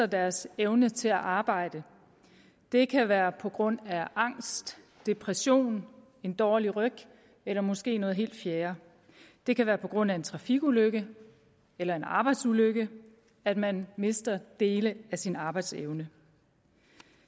deres evne til at arbejde det kan være på grund af angst depression en dårlig ryg eller måske noget helt fjerde det kan være på grund af en trafikulykke eller en arbejdsulykke at man mister dele af sin arbejdsevne